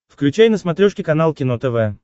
включай на смотрешке канал кино тв